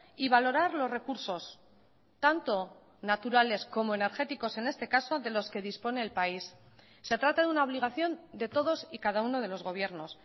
y valorar los recursos tanto naturales como energéticos en este caso de los que dispone el país se trata de una obligación de todos y cada uno de los gobiernos